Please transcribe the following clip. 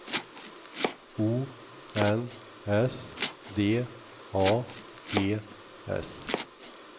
O N S D A G S